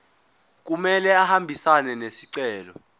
kumele ahambisane nesicelo